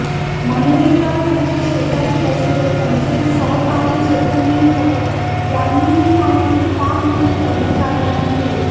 मनेरीकर त्यांच्या शेजारी बसलेले त्यांचे सहकारी चेतन निमकर यांनी ही माहिती फार्ममधील कर्मचाऱ्यांना दिली